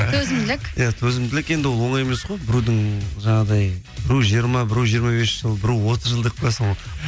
төзімділік иә төзімділік енді ол оңай емес қой біреудің жаңағыдай біреу жиырма біреу жиырма бес жыл біреу отыз жыл деп қоясың